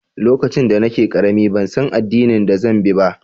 Lokacin da nake karemi, ban san addinin da zan bi ba.